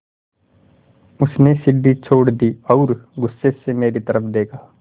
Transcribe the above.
उसने सीढ़ी छोड़ दी और गुस्से से मेरी तरफ़ देखा